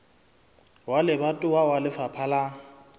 wa lebatowa wa lefapha la